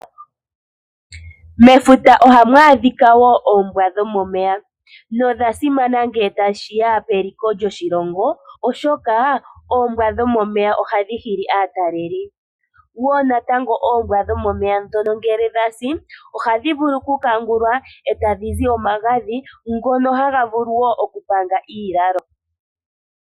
Mefuta ohamu adhika wo oombwa dhomomeya na odhasimana ngele tashiya peliko lyoshilongo oshoka oombwa dhomomeya ohadhi hili atalelipo, dho natango oombwa dhomomeya ngele dhasi ohadhi vulu okukangulwa eta dhi zi omagadhi ngoka haga vulu wo okupanga iilalo.